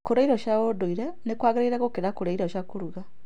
Kũrĩa irio cia ndũire nĩ kwagĩrĩire gũkĩra kũrĩa irio cia kũruga.